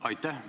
Aitäh!